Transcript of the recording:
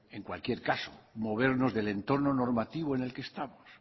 en cualquier caso movernos del entorno normativo en el que estamos